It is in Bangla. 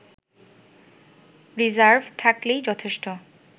রিজার্ভ থাকলেই যথেষ্ট